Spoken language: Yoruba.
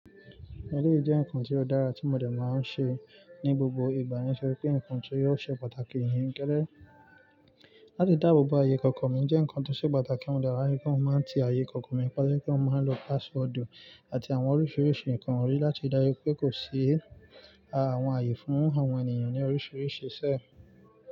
Ẹ̀léyi jẹ́ ǹkan tó dára tí mọ dé máa ń ṣe ní gbogbo ìgbà, nitoripe ǹkan tió ò ṣe pàtàkì níyen gélè. Láti dáàbò bo ààyè ikọ̀kọ̀ mi jẹ́ ǹkan tó ṣe pàtàkì, mo de maan rí pé mo de máa ń ripe mo maan ti ààyè ikọ̀kọ̀ mi pa, to je pé mo máa ń lo password àti àwọn oríṣiríṣi ǹkan láti ri dájú pé kò sí àwọn ààyè fún àwọn ènìyàn ní oríṣiríṣi ṣẹ́.